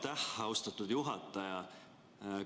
Aitäh, austatud juhataja!